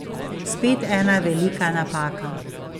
Spet ena velika napaka!